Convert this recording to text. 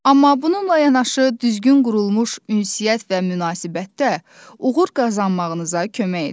Amma bununla yanaşı düzgün qurulmuş ünsiyyət və münasibətdə uğur qazanmağınıza kömək edər.